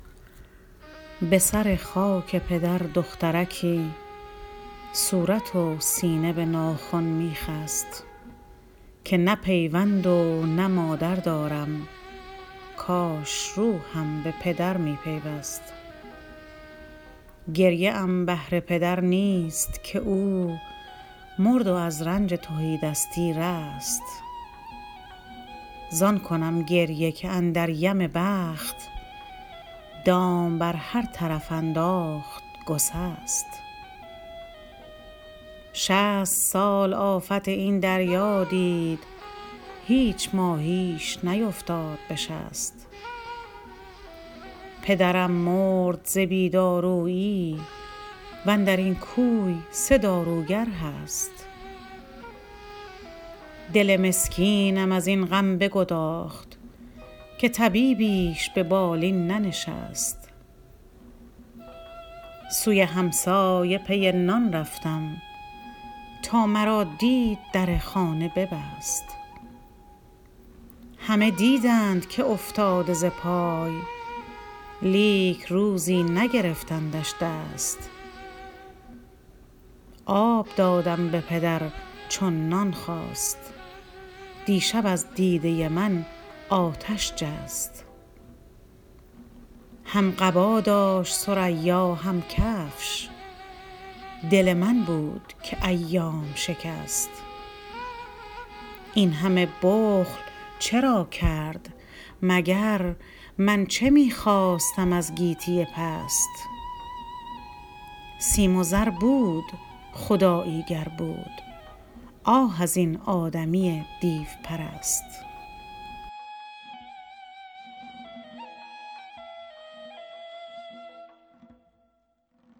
به سر خاک پدر دخترکی صورت و سینه به ناخن می خست که نه پیوند و نه مادر دارم کاش روحم به پدر می پیوست گریه ام بهر پدر نیست که او مرد و از رنج تهی دستی رست زان کنم گریه که اندر یم بخت دام بر هر طرف انداخت گسست شصت سال آفت این دریا دید هیچ ماهیش نیفتاد به شست پدرم مرد ز بی دارویی وندرین کوی سه داروگر هست دل مسکینم از این غم بگداخت که طبیبیش ببالین ننشست سوی همسایه پی نان رفتم تا مرا دید در خانه ببست همه دیدند که افتاده ز پای لیک روزی نگرفتندش دست آب دادم به پدر چون نان خواست دیشب از دیده من آتش جست هم قبا داشت ثریا هم کفش دل من بود که ایام شکست این همه بخل چرا کرد مگر من چه می خواستم از گیتی پست سیم و زر بود خدایی گر بود آه از این آدمی دیوپرست